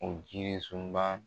O jirisunba